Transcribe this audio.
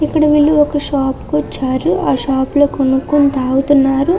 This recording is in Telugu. ఇక్కడ వీళ్ళు ఒక షాప్ కు వచ్చారు. ఆ షాపు లో కొనుక్కొని తాగుతున్నారు.